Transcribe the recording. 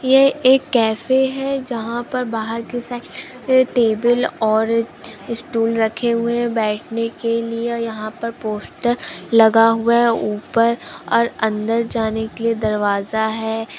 ये एक कैफ़े है जहा पर बाहर की साईड एक टेबल और स्टूल रखे हुए है बैठने के लिए यहाँ पर पोस्टर लगा हुआ है ऊपर और अंदर जाने के दरवाजा है|